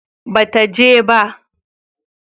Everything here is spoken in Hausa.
ba ta je ba